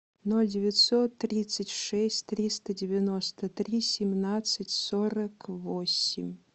ноль девятьсот тридцать шесть триста девяносто три семнадцать сорок восемь